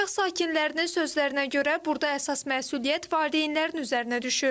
Paytaxt sakinlərinin sözlərinə görə, burda əsas məsuliyyət valideynlərin üzərinə düşür.